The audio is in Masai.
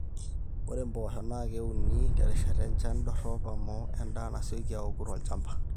ore impoosho naa keuni terishata enjan dorop amu endaa nasioki aoku tolchamba